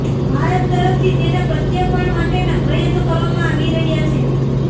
ભારત તરફથી તેના પ્રત્યાર્પણ માટેના પ્રયાસો કરવામાંઆવી રહ્યા છે